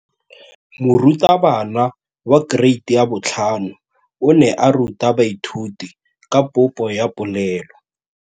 Moratabana wa kereiti ya 5 o ne a ruta baithuti ka popô ya polelô.